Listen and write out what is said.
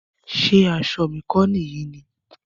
Ṣé aṣọ mi kọ nìyí ni?